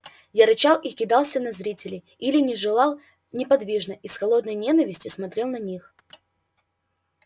он рычал и кидался на зрителей или же лежал неподвижно и с холодной ненавистью смотрел на них